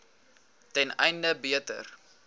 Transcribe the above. ten einde beter